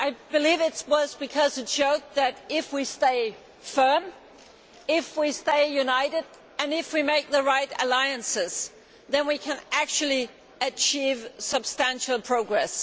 I believe it was because it showed that if we stay firm, if we stay united and if we make the right alliances, then we can actually achieve substantial progress.